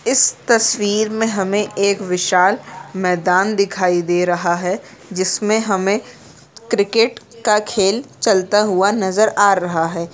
इस तस्वीर में हमे एक विशाल मैदान दिखाई दे रहा है जिसमें हमे क्रिकेट का खेल चलता हुआ नजर आ रहा है।